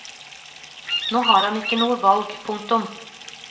Nå har han ikke noe valg. punktum